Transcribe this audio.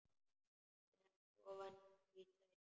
Sekk ofan í sætið.